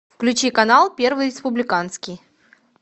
включи канал первый республиканский